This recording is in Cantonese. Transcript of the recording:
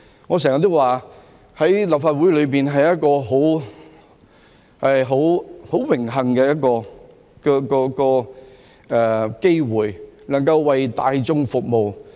我經常說，能夠參與立法會是一個很榮幸的機會，能夠為大眾服務。